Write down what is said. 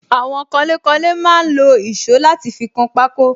Àwọn kanlé kanlé máa ń lo èsó láti fi kan pako